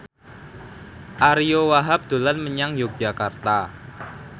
Ariyo Wahab dolan menyang Yogyakarta